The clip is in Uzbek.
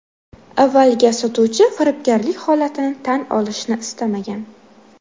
Avvaliga sotuvchi firibgarlik holatini tan olishni istamagan.